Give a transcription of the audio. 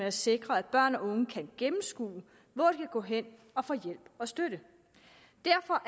at sikre at børn og unge kan gennemskue hvor de gå hen og få hjælp og støtte derfor